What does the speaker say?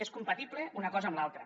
és compatible una cosa amb l’altra